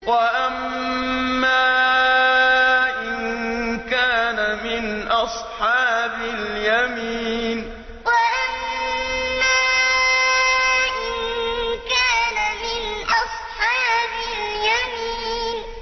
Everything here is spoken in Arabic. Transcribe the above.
وَأَمَّا إِن كَانَ مِنْ أَصْحَابِ الْيَمِينِ وَأَمَّا إِن كَانَ مِنْ أَصْحَابِ الْيَمِينِ